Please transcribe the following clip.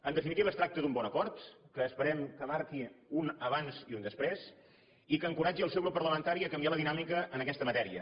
en definitiva es tracta d’un bon acord que esperem que marqui un abans i un després i que encoratgi el seu grup parlamentari a canviar la dinàmica en aquesta matèria